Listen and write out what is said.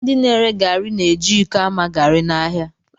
Ndị na-ere garị na-eji iko ama garị n'ahịa